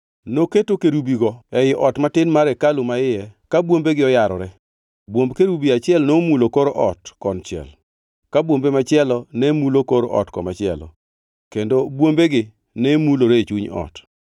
Noketo kerubigo ei ot matin mar hekalu maiye ka bwombegi oyarore. Bwomb kerubi achiel nomulo kor ot konchiel, ka bwombe machielo nemulo kor ot komachielo, kendo bwombegi nemulore e chuny ot.